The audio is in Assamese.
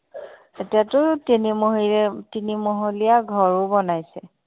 এতিয়াটো তিনিমহলীয়া ঘৰো বনাইছে